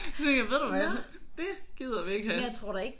Så tænkte jeg ved du hvad det gider vi ikke have